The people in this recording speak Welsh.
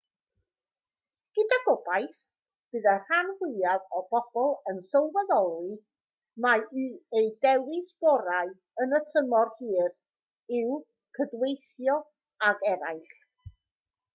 gyda gobaith bydd y rhan fwyaf o bobl yn sylweddoli mai eu dewis gorau yn y tymor hir yw cydweithio ag eraill